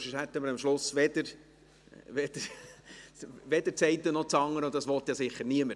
Sonst hätten wir am Ende weder das eine noch das andere, und das möchte ja gewiss niemand.